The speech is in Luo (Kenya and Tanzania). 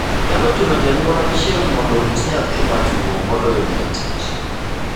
Nyalo chuno janyuol achiel mondo orit nyathi matuo moloyo dhii e tich.